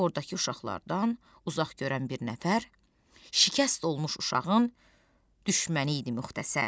Ordakı uşaqlardan uzaq görən bir nəfər şikəst olmuş uşağın düşməni idi müxtəsər.